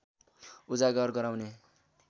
उजागर गराउने